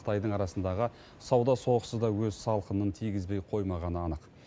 қытайдың арасындағы сауда соғысы да өз салқынын тигізбей қоймағаны анық